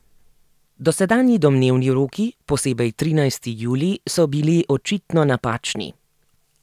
Dosedanji domnevni roki, posebej trinajsti julij, so bili očitno napačni.